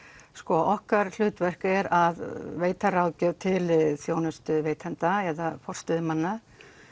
okkar hlutverk er að veita ráðgjöf til þjónustuveitenda eða forstöðumanna